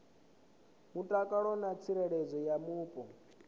mutakalo na tsireledzo ya mupo